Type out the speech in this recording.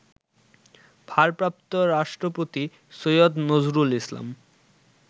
ভারপ্রাপ্ত রাষ্ট্রপতি সৈয়দ নজরুল ইসলাম